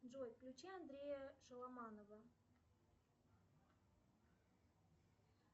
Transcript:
джой включи андрея шаломанова